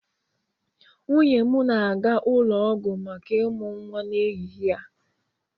Nwunye m ga-aga ụlọ ọgwụ maka ịmụ nwa n'ehihie a.